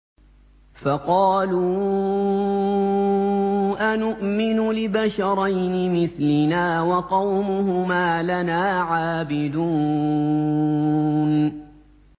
فَقَالُوا أَنُؤْمِنُ لِبَشَرَيْنِ مِثْلِنَا وَقَوْمُهُمَا لَنَا عَابِدُونَ